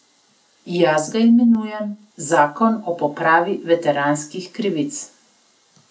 Jaz ga imenujem zakon o popravi veteranskih krivic.